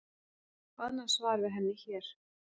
Sjá annað svar við henni hér.